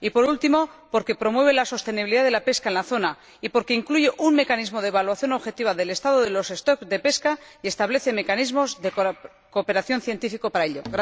Por último, porque promueve la sostenibilidad de la pesca en la zona y porque incluye un mecanismo de evaluación objetiva del estado de los stocks de pesca y establece mecanismos de cooperación científica para ello.